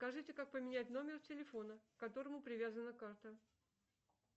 скажите как поменять номер телефона к которому привязана карта